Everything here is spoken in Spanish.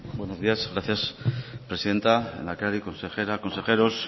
buenos días gracias presidenta lehendakari consejera consejeros